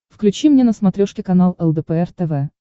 включи мне на смотрешке канал лдпр тв